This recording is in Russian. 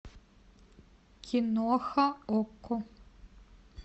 киноха окко